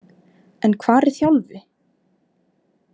En hvar er Þjálfi?